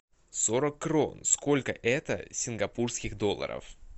сорок крон сколько это сингапурских долларов